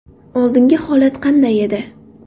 Oldingi holat qanday edi?